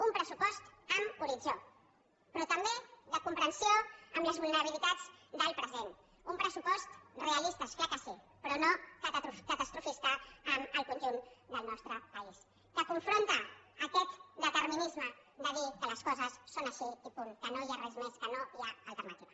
un pressupost amb horitzó però també de comprensió amb les vulnerabilitats del present un pressupost realista és clar que sí però no catastrofista amb el conjunt del nostre país que confronta aquest determinisme de dir que les coses són així i punt que no hi ha res més que no hi ha alternativa